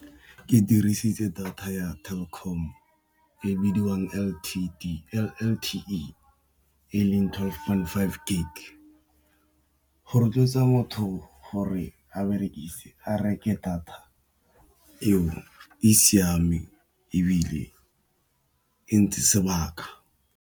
Ke dirisitse data ya Telkom e bidiwang L_T_E e leng twelve point five gig, go rotloetsa motho gore a reke data eo e siameng ebile e ntse sebaka.